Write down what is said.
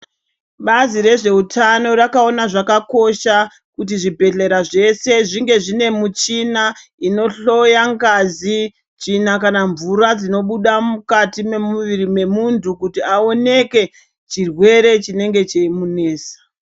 Bazi rezveutano rakaona zvakakosha kuti zvibhedhlera zvese zvinge zvine mishina inohloya ngazi, tsvina kana mvura dzinobuda mukati memuviri memuntu kuti aoneke chirwere chinenge cheimunesa.